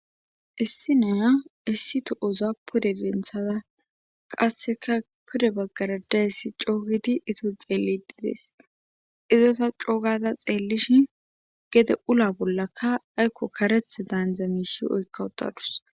issi naya issi tohoza pude denthada qasseka pude baggara dayssi coogidi izo xeeliddi dees iza ta coogada xeellishin gedde ula bollaka aykko karethida haaniza miishshi oykka uttadus